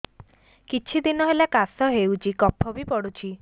କିଛି ଦିନହେଲା କାଶ ହେଉଛି କଫ ବି ପଡୁଛି